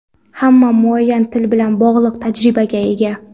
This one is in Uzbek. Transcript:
Hamma muayyan til bilan bog‘liq tajribaga ega.